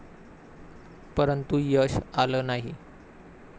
परंतु यश आलं नाही.